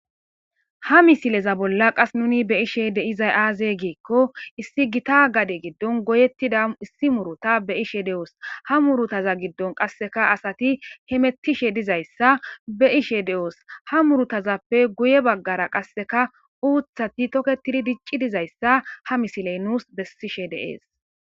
Ha misileza bola qasi nuni beishshe deiza aze gikko issi gita gade giddoni goyetida issi muruta beishshe deosi ha murutaza giddonikka qasekka asati hemetishshe deizayisa besishshe deosi ha murutazappe guye baggara qasekka uththati tokketidi dicci dizayisa ha misileyi nusi besishshe deesi